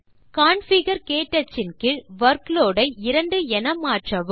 configure க்டச் ன் கீழ் வர்க்லோட் ஐ 2 என மாற்றவும்